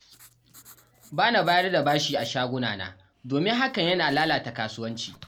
Ba na bayar da bashi a shagunana domin hakan yana lalata kasuwanci.